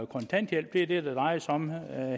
kontanthjælp det er det det drejer sig om